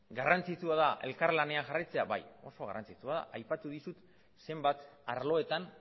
garrantzitsua da elkarlanean jarraitzea bai oso garrantzitsua da aipatu dizut zenbat arloetan